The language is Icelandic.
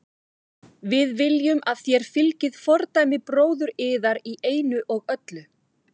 Við viljum að þér fylgið fordæmi bróður yðar í einu og öllu.